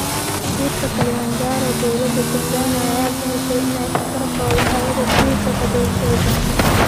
Burta Kilomanjaroo:Dowladha Tanzania aya baxisey inay safarkodha xawadha burta kadul kicidono.